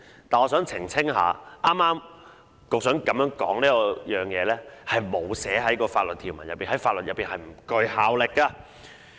但是，我想澄清一下，局長剛才的發言並無納入法律條文，在法律上不具效力。